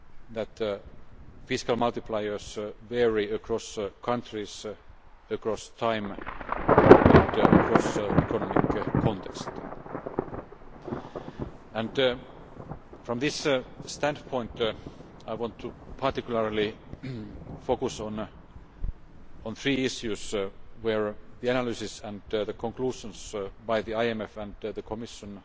that fiscal multipliers vary across countries, across time and across economic contexts. From this standpoint, I want to particularly focus on three issues where the analyses and conclusions by the IMF and the Commission